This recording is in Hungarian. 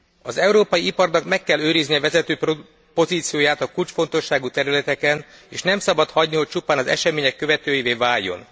Az európai iparnak meg kell őriznie vezető pozícióját a kulcsfontosságú területeken, és nem szabad hagyni, hogy csupán az események követőivé váljon.